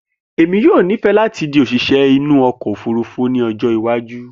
Emi yoo nifẹ lati di osise inu oko ofurufu ni ojo iwaju.